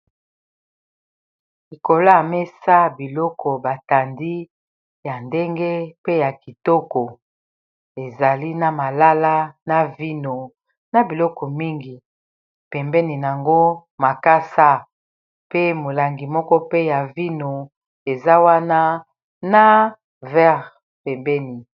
Ĺikolo ya mesa, biloko batandi ya ndenge pe ya kitoko. Ezali na malala, na vino na biloko mingi. Pembeni yango makasa pe molangi moko pe ya vino eza wana na vere pembeni.